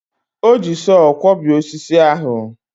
O ji sọọ kwọbie osisi ahụ.